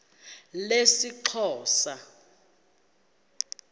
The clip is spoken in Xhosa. lesixhosa